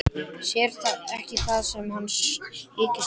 Sér ekki það sem hann þykist sjá.